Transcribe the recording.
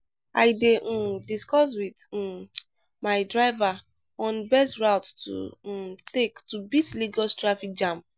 i dey um discuss with um my driver on best route to um take to beat lagos traffic jam.